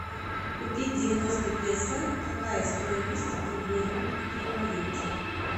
купить девяносто песо какая стоимость в рублевом эквиваленте